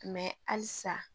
halisa